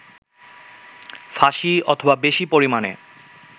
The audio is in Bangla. ফাঁসি অথবা বেশি পরিমানে